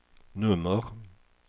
nummer